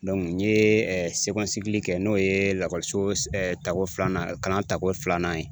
n ye kɛ n'o ye lakɔliso s tako filanan kalan tako filanan ye.